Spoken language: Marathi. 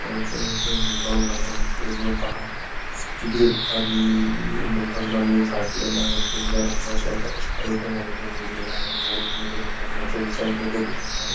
व्यावसहिक हे गोडाउन आहे हे पूर्णतः स्टील आणि लोखंडाणी झाकलेला आहे पिवळ्या रंगाचा एक रस्ता इथे मधोमध गेलेल्या आहे मोठमोठे लोखंडाचे शॉप इथे दिसत आहे.